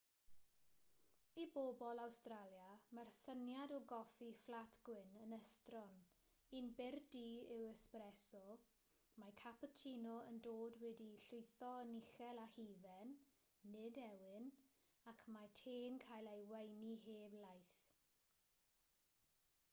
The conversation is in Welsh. i bobl awstralia mae'r syniad o goffi fflat gwyn' yn estron. un byr du yw espresso mae cappuccino yn dod wedi'i lwytho'n uchel â hufen nid ewyn ac mae te'n cael ei weini heb laeth